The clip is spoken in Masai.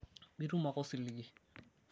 mitum ake osiligi